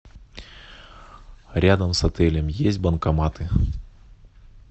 рядом с отелем есть банкоматы